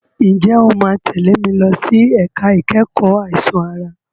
Ǹjẹ́ o máa tẹ̀lé mi lọ sí ẹ̀ka ìkẹ́kọ̀ọ́ àìsàn ara?